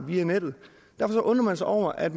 via nettet derfor undrer man sig over at